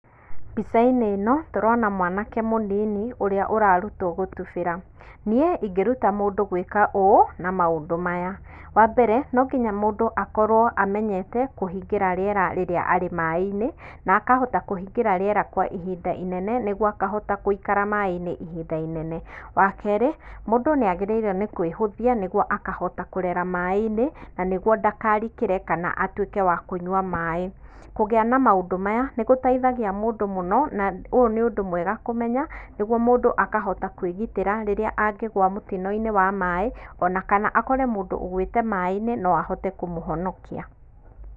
Mbica-inĩ ĩno tũrona mwanake mũnini ũrĩa ũrarutwo gũtubĩra. Niĩ ingĩruta mũndũ gwĩka ũũ na maũndũ maya, wa mbere no nginya mũndũ akorwo kũhingĩra rĩera rĩrĩa arĩ maĩ-inĩ na akahota kũhingĩra riera kwa ihinda inene nĩguo akahota guikara maĩ-inĩ ihinda rĩnene. Wa kerĩ mũndũ nĩ agĩrĩirwo nĩ kwĩhũthia nĩguo akahota kũrera maĩ-inĩ na nĩguo ndakarikĩre atuĩke wa kũnyua maĩ. Kũgĩa na maũndũ maya nĩgũteithagia mũndũ mũno na ũyũ nĩ ũndũ mwega kũmenya nĩguo mũndũ akahota kwĩgitĩra rĩrĩa angĩgwa mũtino-inĩ wa maĩ o na kana akore mũndũ ugwĩte maĩ-inĩ no ahote kũmũhonokia.